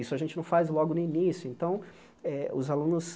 Isso a gente não faz logo no início, então eh os alunos